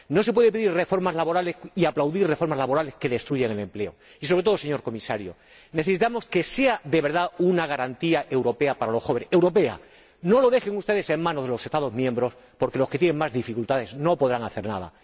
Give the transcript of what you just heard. No se pueden pedir reformas laborales y aplaudir reformas laborales que destruyan el empleo y, sobre todo, señor Comisario, necesitamos que sea de verdad una garantía europea para los jóvenes, europea, no lo dejen ustedes en manos de los Estados miembros, porque los que tienen más dificultades no podrán hacer nada.